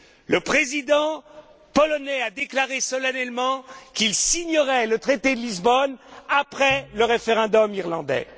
Le président polonais a déclaré solennellement qu'il signerait le traité de Lisbonne après le référendum irlandais.